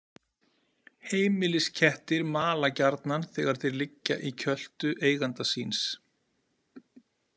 Heimiliskettir mala gjarnan þegar þeir liggja í kjöltu eiganda síns.